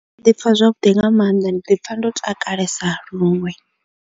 Ndi ḓi pfha zwavhuḓi nga maanḓa ndi ḓi pfha ndo takalesa luṅwe.